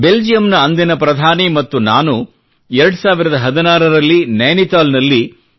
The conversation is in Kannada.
ಬೆಲ್ಜಿಯಂನ ಅಂದಿನ ಪ್ರಧಾನಿ ಮತ್ತು ನಾನು 2016 ರಲ್ಲಿ ನೈನಿತಾಲ್ನಲ್ಲಿ 3